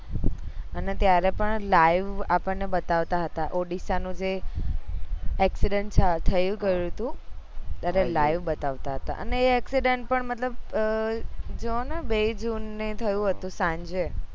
અને ત્યારે પણ live આપણને બતાવતા હતા ઓડીસા નું જે accident થય ગયું હતું ત્યારે live બતાવતા હતા અને એ accident પણ મતલબ જોને બે જૂન થયું હતું સાંજે